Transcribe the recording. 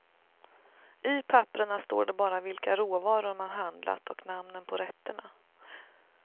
I papperna står det bara vilka råvaror man handlat och namnen på rätterna.